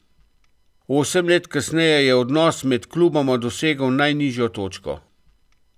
Osem let kasneje je odnos med kluboma dosegel najnižjo točko.